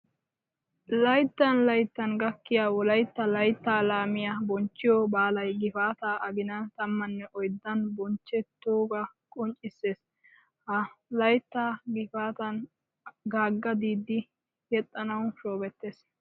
Laytttan laytttan gakkiya Wolaytta layttaa laamiya bonchchiyo baalay gifataa aginan tammane oyddan bochchettoogaa qonccisses. Ha laytta gifaatan Gaagga Diiddi yexxanawu shoobettiis.